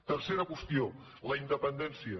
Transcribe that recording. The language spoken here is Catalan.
tercera qüestió la independència